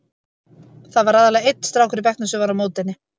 Það var aðallega einn strákur í bekknum sem var á móti henni.